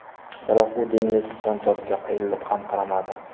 Biroq u dengiz jonzotiga qayrilib ham qaramadi .